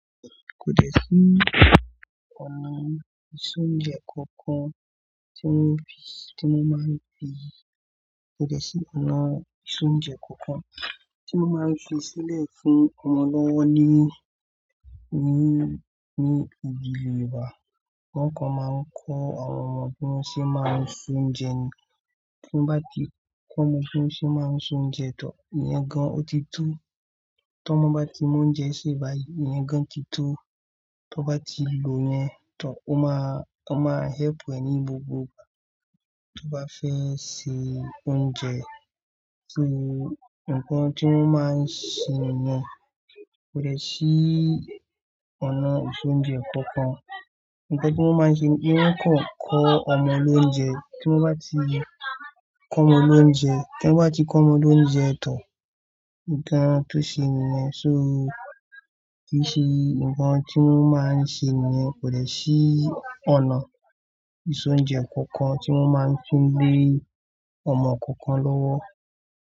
Kò dẹ̀ sí ọ̀nà ìse ọ́unjẹ̀ kankan tí wọ́n fi, tí wọ́n máa ń fi, kò dẹ̀ sí ọ̀nà ìse ọ́unjẹ̀ kankan tí wọ́n máa ń fi sílẹ̀ fún ọmọ lọ́wọ́ ní, ní, ní ìdílé wa. Wọ́n kàn máa ń kọ àwọn ọmọ bí wọ́n ṣe máa ń se ọ́unjẹ̀ ni. Tí wọ́n bá ti kọ́ ọmọ bí wọ́n ṣe máa ń se ọ́unjẹ̀ tọ̀, ìyẹn gan ọ́ ti tó. Tí ọmọ bá ti mọ oúnjẹ se báyìí, ìyẹn gan ti tó. Tí wọ́n bá ti lò yẹn tan, ó máa, ó máa help ẹ ní gbogbo ìgbà tí o bá fẹ́ ṣe ọ́unjẹ̀. Nǹkan tí wọ́n máa ń ṣe nìyẹn kò dẹ̀ sí ọ̀nà ìse ọ́unjẹ̀ kankan. Ǹkan tí wọ́n máa ń ṣe ní pe wọ́n kàn ń kọ́ ọmọ lóúnjẹ. Tí wọ́n bá ti kọ́ ọmọ lóúnjẹ, tí wọ́n bá ti kọ́ ọmọ lóúnjẹ tan, ǹkan tó ṣe nìyẹn. So, kì í ṣe nǹkan tí wọ́n máa ń ṣe nìyẹn kò dẹ̀ sí ọ̀nà ìsọ̀ ọ́unjẹ̀ kankan tí wọ́n máa ń fi gbé ọmọ kankan lọ́wọ́.